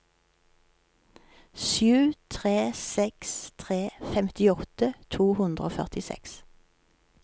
sju tre seks tre femtiåtte to hundre og førtiseks